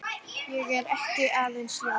Ég er ekki aðeins ljón.